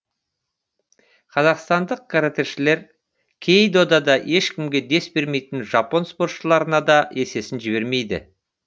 қазақстандық каратэшілер кей додада ешкімге дес бермейтін жапон спортшыларына да есесін жібермейді